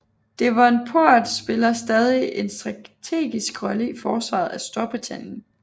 Devonport spiller stadig en strategisk rolle i forsvaret af Storbritannien